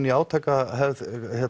í átakahefð